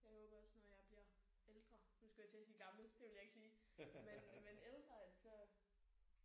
Jeg håber også når jeg bliver ældre nu skulle jeg til at sige gammel det ville jeg ikke sige men men ældre at så